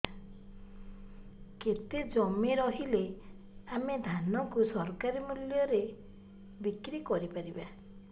କେତେ ଜମି ରହିଲେ ଆମେ ଧାନ କୁ ସରକାରୀ ମୂଲ୍ଯରେ ବିକ୍ରି କରିପାରିବା